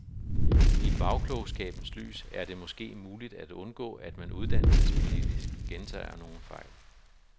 I bagklogskabens lys er det måske muligt at undgå, at man uddannelsespolitisk gentager nogle fejl.